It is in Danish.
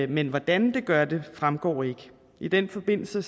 men hvordan det gør det fremgår ikke i den forbindelse